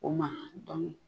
O ma dɔnke